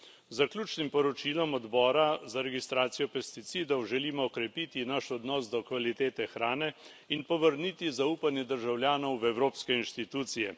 Z zaključnim poročilom odbora za registracijo pesticidov želimo okrepiti naš odnos do kvalitete hrane in povrniti zaupanje državljanov v evropske inštitucije.